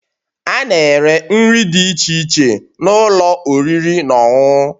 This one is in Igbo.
A na-ere nri dị iche iche n'ụlọ oriri na ọṅụṅụ